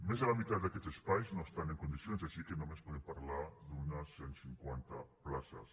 més de la meitat d’aquests espais no estan en condicions així que només podem parlar d’unes cent cinquanta places